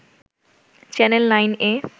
channel ৯ A